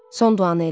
Son duanı elə.